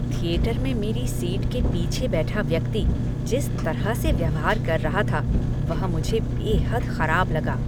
Theatre में मेरी seat के पीछे बैठा व्यक्ति जिस तरह से व्यवहार कर रहा था, वह मुझे बेहद ख़राब लगा।